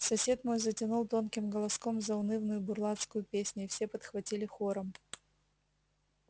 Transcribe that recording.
сосед мой затянул тонким голоском заунывную бурлацкую песню и все подхватили хором